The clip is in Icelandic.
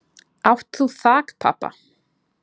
Átt þú þakpappa?